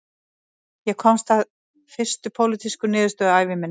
Ég komst að fyrstu pólitísku niðurstöðu ævi minnar